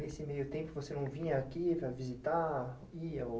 Nesse meio tempo, você não vinha aqui para visitar?